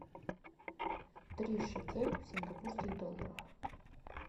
три шекель в сингапурских долларах